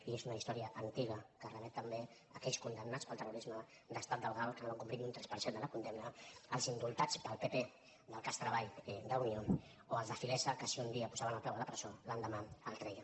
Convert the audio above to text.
i és una història antiga que remet també a aquells condem·nats pel terrorisme d’estat del gal que no van com·plir ni un tres per cent de la condemna els indultats pel pp del cas treball d’unió o els de filesa que si un dia posaven el peu a la presó l’endemà l’en treien